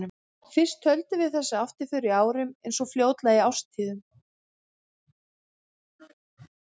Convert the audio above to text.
Fyrst töldum við þessa afturför í árum, en svo fljótlega í árstíðum.